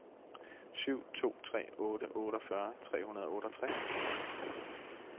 syv to tre otte otteogfyrre tre hundrede og otteogtres